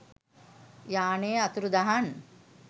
යානය අතුරුදහන්